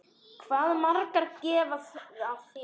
Hvað maður gaf af sér.